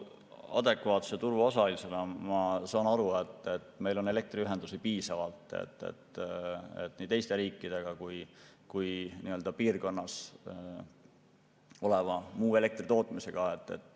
Adekvaatse turuosalisena ma saan aru, et meil on elektriühendusi piisavalt nii teiste riikidega kui ka piirkonnas oleva muu elektritootmisega.